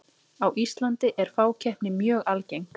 á íslandi er fákeppni mjög algeng